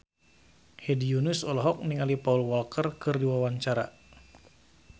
Hedi Yunus olohok ningali Paul Walker keur diwawancara